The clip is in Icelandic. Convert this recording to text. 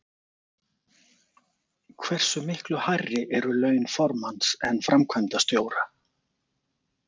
Hversu miklu hærri eru laun formanns en framkvæmdastjóra?